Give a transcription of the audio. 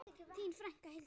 Þín frænka, Hildur.